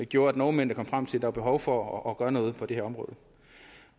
gjorde at nordmændene kom frem til var behov for at gøre noget på det her område